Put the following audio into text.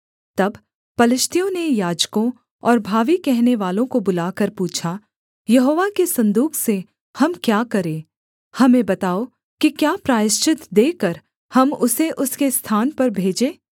तब पलिश्तियों ने याजकों और भावी कहनेवालों को बुलाकर पूछा यहोवा के सन्दूक से हम क्या करें हमें बताओ कि क्या प्रायश्चित देकर हम उसे उसके स्थान पर भेजें